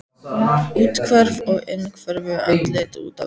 Úthverfa á innhverfu, andlit út á við.